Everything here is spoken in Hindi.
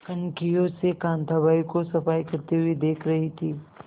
कनखियों से कांताबाई को सफाई करते हुए देख रही थी